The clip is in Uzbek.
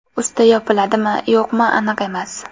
Usti yopiladimi-yo‘qmi, aniq emas.